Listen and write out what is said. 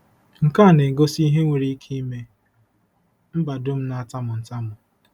Nke a na-egosi ihe nwere ike ime mba dum na-atamu ntamu.